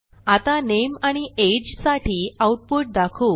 आता नामे आणि अगे साठी आऊटपुट दाखवू